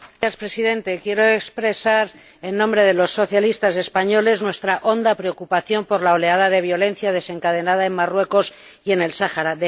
Señor Presidente, quiero expresar, en nombre de los socialistas españoles, nuestra honda preocupación por la oleada de violencia desencadenada en Marruecos y en el Sáhara.